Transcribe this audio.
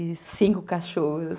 E cinco cachorros.